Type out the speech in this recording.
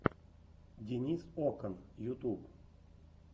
денис окан ютуб